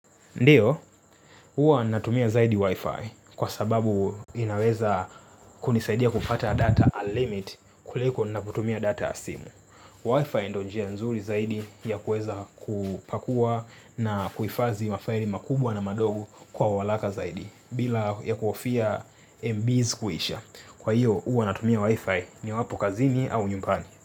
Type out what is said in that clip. Ndio, huwa natumia zaidi Wi-Fi kwa sababu inaweza kunisaidia kupata data unlimit kuliko ninapotumia data ya simu. Wi-Fi ndo njia nzuri zaidi ya kuweza kupakua na kuhifadhi mafaili makubwa na madogo kwa uharaka zaidi bila ya kuhofia MB's kuisha. Kwa hiyo, huwa natumia Wi-Fi niwapo kazini au nyumbani.